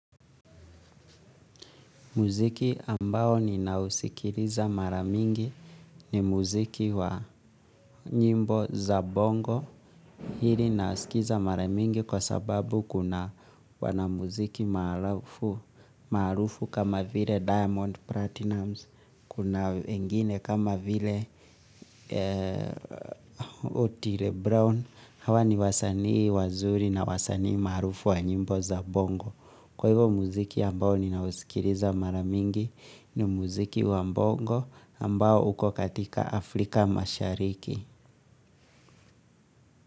Muziki ambao nina usikiliza mara mingi ni muziki wa nyimbo za bongo. Hili nasikiza maramingi kwa sababu kuna wanamuziki maarufu kama vile Diamond Platinumz, kuna wengini kama vile Otile Brown. Hawa ni wasanii wazuri na wasanii marufu wa nyimbo za bongo. Kwa hivo muziki ambao nina usikiliza maramingi ni muziki wa mbongo ambao uko katika Afrika mashariki.